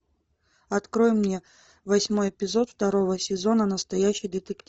открой мне восьмой эпизод второго сезона настоящий детектив